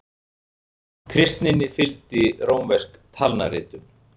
Kristninni fylgdi rómversk talnaritun.